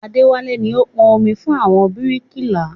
Adéwálé ni ó ń pọn omi fún àwọn bíríkìlà